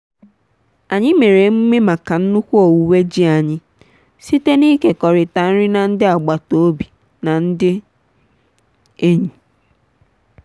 anyị mere emume maka nnukwu owuwe ji anyị site n'ịkekọrịta nri na ndị agbata obi na ndị enyi.